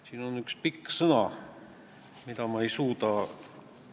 Kas nad on üldiselt valinud pigem motiveerivaid või karistavaid meetmeid?